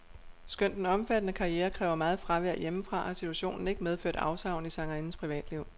Skønt den omfattende karriere kræver meget fravær hjemmefra, har situationen ikke medført afsavn i sangerindens privatliv.